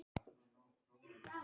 Að því er virtist að minnsta kosti.